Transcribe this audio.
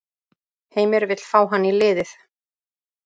Heimir vill fá hann í liðið.